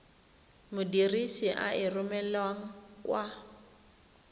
modirisi a e romelang kwa